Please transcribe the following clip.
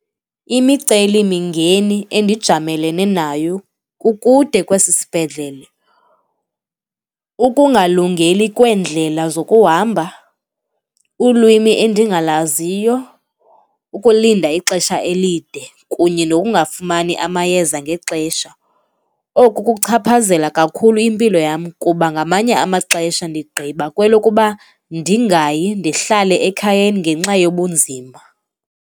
Imicelimingeni endijamelene nayo, kukude kwesi sibhedlele, ukungalungeli kweendlela zokuhamba, ulwimi endingalaziyo, ukulinda ixesha elide kunye nokungafumani amayeza ngexesha. Oku kuchaphazela kakhulu impilo yam kuba ngamanye amaxesha ndigqiba kwelokuba ndingayi, ndihlale ekhayeni ngenxa yobunzima.